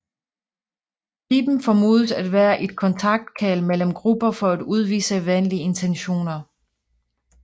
Piben formodes at være et kontaktkald mellem grupper for at udvise venlige intentioner